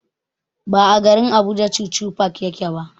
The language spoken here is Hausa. Ba a garin Abuja chuchu park yake ba.